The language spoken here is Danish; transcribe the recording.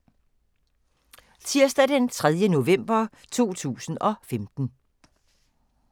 Tirsdag d. 3. november 2015